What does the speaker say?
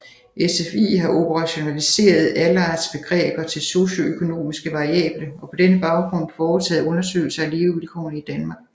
SFI har operationaliseret Allardts begreber til socioøkonomiske variable og på denne baggrund foretaget undersøgelser af Levevilkårene i Danmark